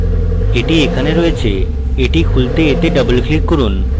এটি এখানে রয়েছে এটি খুলতে এতে double click করুন